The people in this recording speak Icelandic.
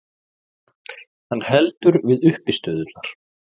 Hann heldur við uppistöðurnar.